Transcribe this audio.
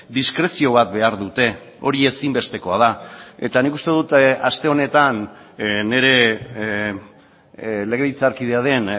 diskrezio bat behar dute hori ezinbestekoa da eta nik uste dut aste honetan nire legebiltzarkidea den